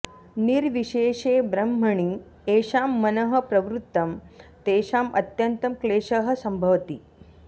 निर्विशेषे ब्रह्मणि येषां मनः प्रवृत्तम् तेषाम् अत्यन्तं क्लेशः सम्भवति